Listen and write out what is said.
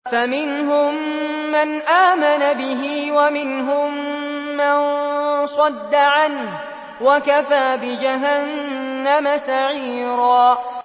فَمِنْهُم مَّنْ آمَنَ بِهِ وَمِنْهُم مَّن صَدَّ عَنْهُ ۚ وَكَفَىٰ بِجَهَنَّمَ سَعِيرًا